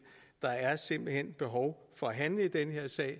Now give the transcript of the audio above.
der er simpelt hen behov for at handle i den her sag